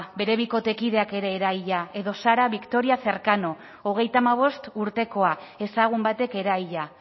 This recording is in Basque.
bere bikotekideak ere eraila edo sara victoria cercano hogeita hamabost urtekoa ezagun batek eraila